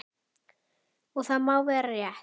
Og það má vera rétt.